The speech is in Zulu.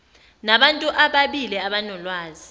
nabantu ababili abanolwazi